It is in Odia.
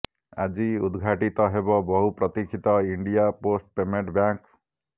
ଆଜି ଉଦଘାଟିତ ହେବ ବହୁ ପ୍ରତୀକ୍ଷିତ ଇଣ୍ଡିଆ ପୋଷ୍ଟ ପେମେଣ୍ଟ ବ୍ୟାଙ୍କ